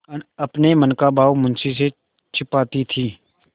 अपने मन का भाव मुंशी से छिपाती थी